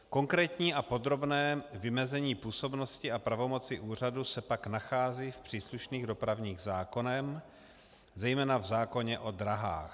Konkrétní a podrobné vymezení působnosti a pravomoci úřadu se pak nachází v příslušných dopravních zákonech, zejména v zákoně o dráhách.